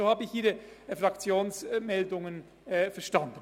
So habe ich Ihre Fraktionsmeldungen verstanden.